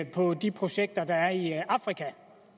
på de projekter der er i afrika